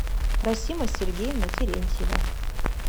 расима сергеевна терентьева